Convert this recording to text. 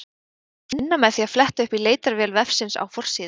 Það má finna með því að fletta upp í leitarvél vefsins á forsíðu.